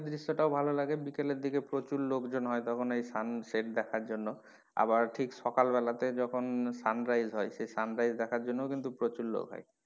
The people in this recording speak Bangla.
দৃশ্য টাও ভালো লাগে বিকেলের দিকে প্রচুর লোকজন হয় তখন এই sunset দেখার জন্য আবার ঠিক সকাল বেলা তে যখন sunrise হয় সেই sunrise দেখার জন্য ও কিন্তু প্রচুর লোক হয়।